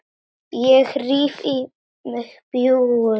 Ég ríf í mig bjúgun.